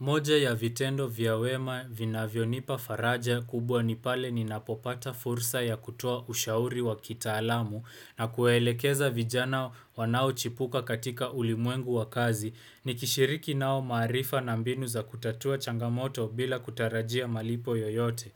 Moja ya vitendo vya wema vina vyonipa faraja kubwa nipale ni napopata fursa ya kutoa ushauri wa kita alamu na kuwaelekeza vijana wanao chipuka katika ulimwengu wa kazi ni kishiriki nao maarifa na mbinu za kutatua changamoto bila kutarajia malipo yoyote.